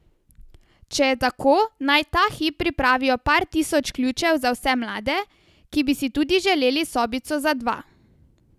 Če je tako, naj ta hip pripravijo par tisoč ključev za vse mlade, ki bi si tudi želeli sobico za dva.